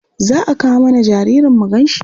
Za a kawo mana jaririn mu ganshi?